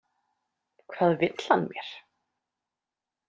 Hvað vill hann mér?